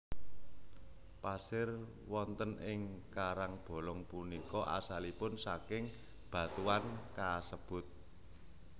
Pasir wonten ing karangbolong punika asalipun saking batuan kasebut